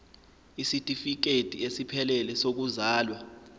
isitifikedi esiphelele sokuzalwa